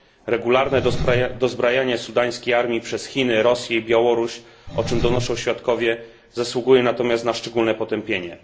Regularne dozbrajanie sudańskiej armii przez Chiny, Rosję i Białoruś, o czym donoszą świadkowie, zasługuje natomiast na szczególne potępienie.